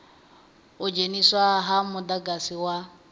u dzheniswa ha mudagasi wa